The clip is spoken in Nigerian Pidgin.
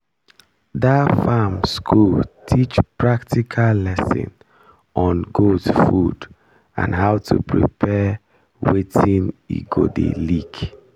der farm school teach practical lesson on goat food and how to prepare watin e go dey lick